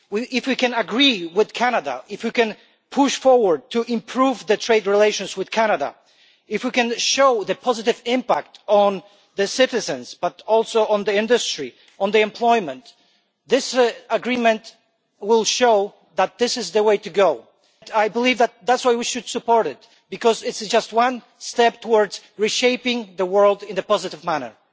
If we can agree with Canada, if we can push forward to improve trade relations with Canada, if we can show the positive impact on citizens, on industry and on employment, this Agreement will show that this is the way to go. I believe that is why we should support it, because it is just one step towards reshaping the world in a positive manner.